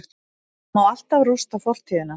Það má alltaf rústa fortíðina-